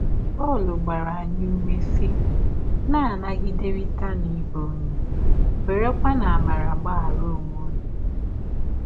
Pọl gbara anyị ụme, sị: “ Na - anagiderịtanụ ibe ụnụ, werekwanụ amara gbaghara ọnwe ụnụ. ”